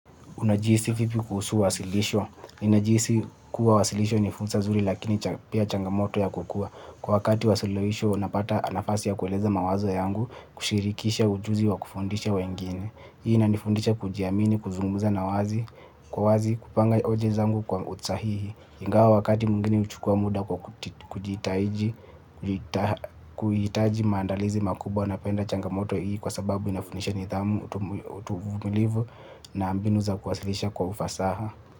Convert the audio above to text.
Unajihisi vipi kuhusu uwasilisho? Ninajihisi kuwa wasilisho ni fursa nzuri lakini pia changomoto ya kukua. Kwa wakati wa suluhisho unapata nafasi ya kueleza mawazo yangu kushirikisha ujuzi wa kufundisha wengine. Hii inanifundisha kujiamini, kuzunguza na wazi, kwa wazi kupanga oja zangu kwa usahihi. Ingawa wakati mwingine uchukua mda kwa kujitahiji, kuitaji maandalizi makubwa. Napenda changamoto hii kwa sababu inafundisha nidhamu utuvumilivu na mbinu za kuwasilisha kwa ufasaha.